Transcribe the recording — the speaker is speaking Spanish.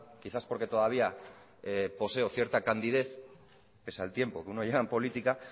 quizá por que todavía poseo cierta candidez pese al tiempo que uno lleva en política